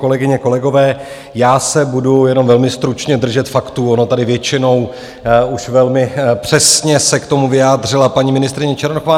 Kolegyně, kolegové, já se budu jenom velmi stručně držet faktů, ona tady většinou už velmi přesně se k tomu vyjádřila paní ministryně Černochová.